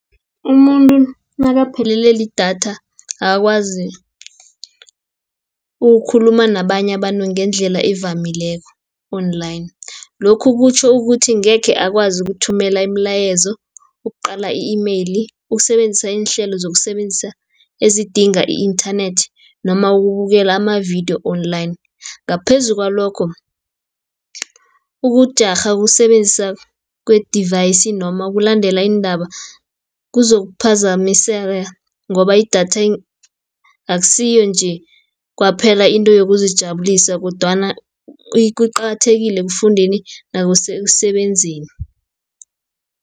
Umuntu nakaphelele lidatha akakwazi ukukhuluma nabanye abantu, ngendlela evamileko Online. Lokhu kutjho ukuthi ngekhe akwazi ukuthumela imilayezo, ukuqala i-email, ukusebenzisa iinhlelo ezidinga i-inthanethi, noma ukubukela ama-video Online. Ngaphezu kwalokho ukujarha ukusebenzisa kwe-device, noma ukulandela iindaba kuzokuphazamiseka, ngoba idatha akusiyo nje kwaphela, into yokuzijabulisa kodwana kuqakathekile ekufundeni nasekusebenzeni.